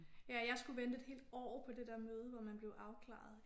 Ja jeg skulle vente et helt år på der møde hvor man blev afklaret